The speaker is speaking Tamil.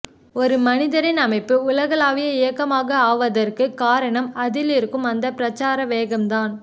ஒரு மனிதரின் அமைப்பு உலகளாவிய இயக்கமாக ஆவதற்குக் காரணம் அதிலிருக்கும் அந்த பிரச்சார வேகம்தான்